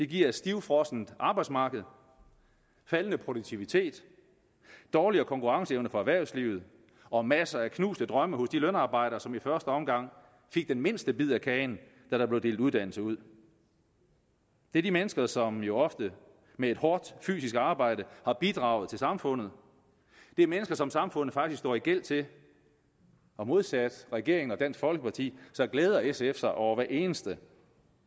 giver et stivfrossent arbejdsmarked faldende produktivitet dårligere konkurrenceevne for erhvervslivet og masser af knuste drømme hos de lønarbejdere som i første omgang fik den mindste bid af kagen da der blev delt uddannelse ud det er de mennesker som jo ofte med et hårdt fysisk arbejde har bidraget til samfundet det er mennesker som samfundet faktisk står i gæld til og modsat regeringen og dansk folkeparti glæder sf sig over hver eneste